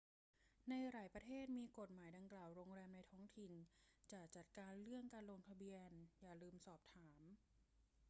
ในหลายประเทศที่มีกฎหมายดังกล่าว โรงแรมในท้องถิ่นจะจัดการเรื่องการลงทะเบียน อย่าลืมสอบถาม